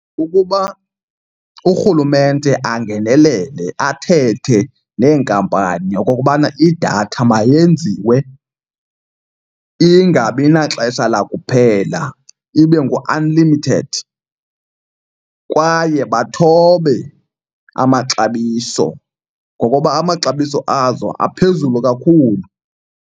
Kukuba urhulumente angenelele athethe neenkampani okokubana idatha mayenziwe ingabi naxesha lakuphela ibe ngu-unlimited. Kwaye bathobe amaxabiso ngokuba amaxabiso azo aphezulu kakhulu.